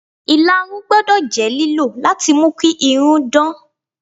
Ìlarun gbọ́dọ̀ jẹ́ lílò láti mú kí irun dán.